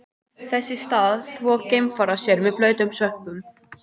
Þess í stað þvo geimfarar sér með blautum svömpum.